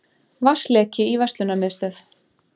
Vatnsleki í verslunarmiðstöð